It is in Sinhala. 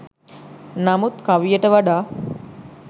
නමුත් කවියට වඩා